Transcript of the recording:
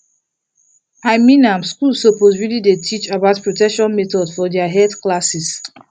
i mean am schools suppose really dey teach about protection methods for their health class